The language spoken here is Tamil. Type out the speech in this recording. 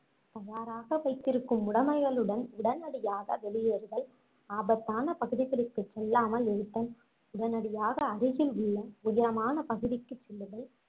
தயாராக வைத்திருக்கும் உடமைகளுடன் உடனடியாக வெளியேறுதல் ஆபத்தான பகுதிகளுக்குச் செல்லாமல் இருத்தல் உடனடியாக அருகில் உள்ள உயரமான பகுதிக்குச் செல்லுதல்